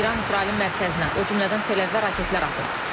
İran İsrailin mərkəzinə, o cümlədən Tel-Əvivə raketlər atıb.